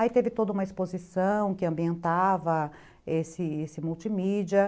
Aí teve toda uma exposição que ambientava esse esse multimídia.